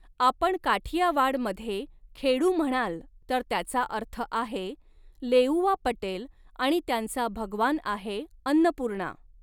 आपण काठीयावाड मधे खेडू म्हणाल तर त्याचा अर्थ आहे, लेऊआ पटेल आणि त्यांचा भगवान आहे अन्नपूर्णा!